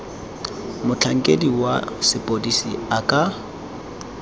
motlhankedi wa sepodisi a ka